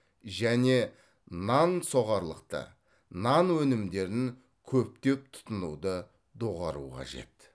және нан соғарлықты нан өнімдерін көптеп тұтынуды доғару қажет